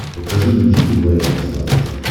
покажи мне жди лайв на смотрешке